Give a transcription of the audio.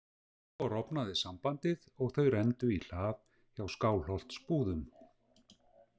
Svo rofnaði sambandið og þau renndu í hlað hjá Skálholtsbúðum.